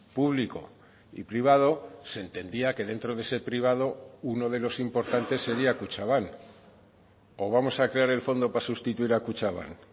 público y privado se entendía que dentro de ese privado uno de los importantes sería kutxabank o vamos a crear el fondo para sustituir a kutxabank